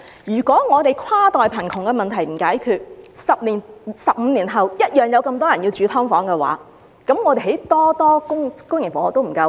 如果香港的跨代貧窮問題無法解決 ，10 年、15年後同樣有那麼多人需要住在"劏房"的話，政府興建再多公營房屋亦不足夠。